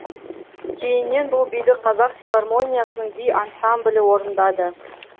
кейіннен бұл биді қазақ филармониясының би ансамблі орындады